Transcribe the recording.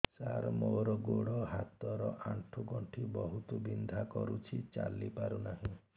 ସାର ମୋର ଗୋଡ ହାତ ର ଆଣ୍ଠୁ ଗଣ୍ଠି ବହୁତ ବିନ୍ଧା କରୁଛି ଚାଲି ପାରୁନାହିଁ